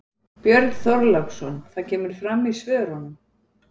Björn Þorláksson: Það kemur fram í svörunum?